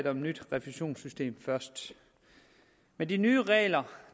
et nyt refusionssystem først med de nye regler